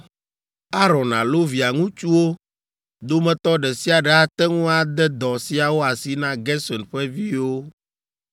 Aron alo via ŋutsuwo dometɔ ɖe sia ɖe ate ŋu ade dɔ siawo asi na Gerson ƒe viwo,